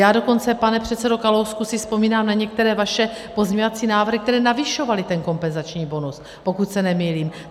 Já dokonce, pane předsedo Kalousku, si vzpomínám na některé vaše pozměňovací návrhy, které navyšovaly ten kompenzační bonus, pokud se nemýlím.